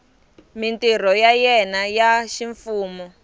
mintirho ya yena ya ximfumo